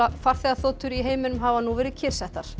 farþegaþotur í heiminum hafa nú verið kyrrsettar